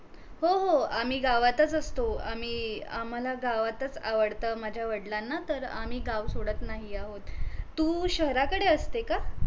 हो हो आम्ही गावातच असतो, आम्ही आम्हाला गावातच आवडतं माझ्या वडलांना तर आम्ही गाव सोडत नाहीये आहोत तू शहराकडे असते का?